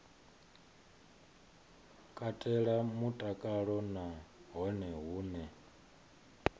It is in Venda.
katela mutakalo na hone hune